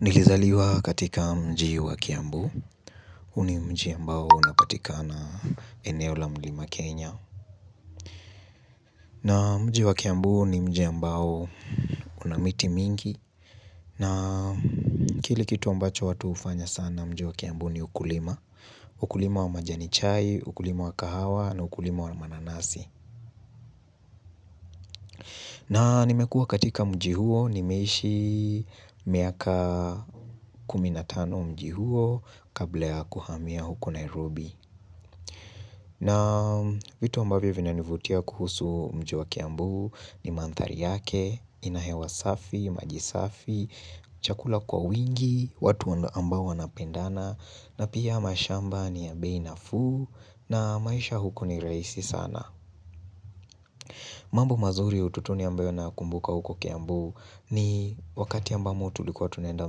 Nilizaliwa katika mji wa kiambu, huu ni mji ambao unapatikana eneo la mlima Kenya na mji wa kiambu ni mji ambao una miti mingi na kile kitu ambacho watu hufanya sana mji wa kiambu ni ukulima Ukulima wa majani chai, ukulima wa kahawa na ukulima wa mananasi na nimekua katika mji huo nimeishi miaka kumi na tano mji huo kabla ya kuhamia huko Nairobi. Na vitu ambavyo vinanivutia kuhusu mji wa kiambu ni mandhari yake, inahewa safi, maji safi, chakula kwa wingi, watu ambao wanapendana, na pia mashamba ni ya bei nafuu na maisha huko ni rahisi sana. Mambu mazuri utotoni ambayo nakumbuka huko kiambu ni wakati ambamo tulikuwa tunenda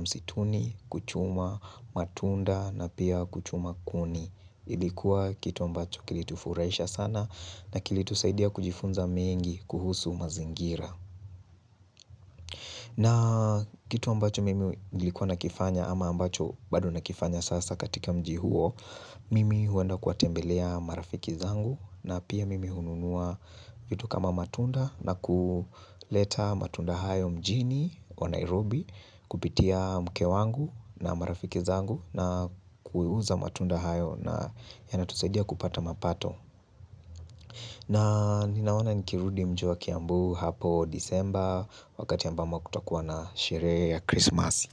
msituni, kuchuma, matunda na pia kuchuma kuni. Ilikuwa kitu ambacho kilitufurahisha sana na kilitusaidia kujifunza mengi kuhusu mazingira. Na kitu ambacho mimi nilikuwa nakifanya ama ambacho bado nakifanya sasa katika mji huo, Mimi huenda kuwatembelea marafiki zangu na pia mimi hununua vitu kama matunda na kuleta matunda hayo mjini wa Nairobi kupitia mke wangu na marafiki zangu na kuiuza matunda hayo na yanatusaidia kupata mapato. Na ninaona nikirudi mji wa kiambu hapo disemba wakati ambamo kutakuwa na sherehe ya Christmas.